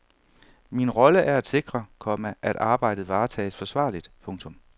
Min rolle er at sikre, komma at arbejdet varetages forsvarligt. punktum